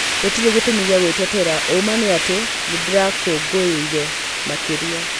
Gũtĩrĩ gĩtũmi gĩa gwĩtetera ũũma nĩatĩ nĩ ndĩra kũngũĩire makiria